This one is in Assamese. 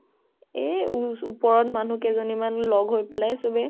এ এই ওপৰত মানুহ কেইজনী মান লগ হৈ চবেই